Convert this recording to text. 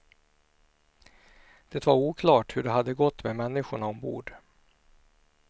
Det var oklart hur det hade gått med människorna ombord.